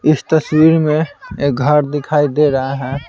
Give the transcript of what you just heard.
इस तस्वीर में एक घर दिखाई दे रहा है।